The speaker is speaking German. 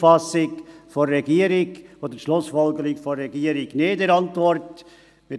Deshalb teilen wir die Auffassung oder Schlussfolgerung der Regierung in ihrer Antwort nicht.